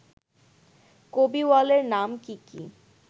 কবিওয়ালের নাম কি কি